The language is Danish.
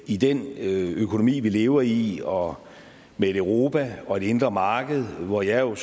i den økonomi vi lever i og med et europa og et indre marked hvor jeg jo